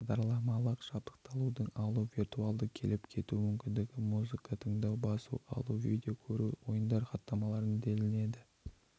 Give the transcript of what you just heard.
бағдарламалық жабдықталуды алу виртуалды келіп-кету мүмкіндігі музыка тыңдау басып алу видео көру ойындар хаттамалар делінетін